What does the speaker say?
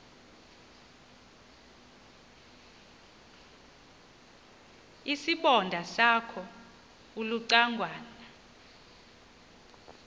isibonda sakho ulucangwana